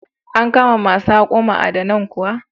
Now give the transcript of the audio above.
An kama ma su haƙo ma'adanan kuwa?